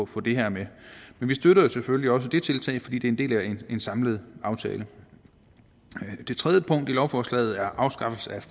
få det her med men vi støtter selvfølgelig også det tiltag fordi det er en del af en samlet aftale det tredje punkt i lovforslaget er afskaffelse af